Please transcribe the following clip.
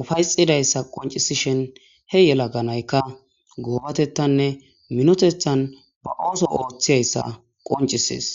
ufayxidayssa qoncisishen he yela ganaykka goobatettanne minotethan ba ooso ooththiyayssa qoncisis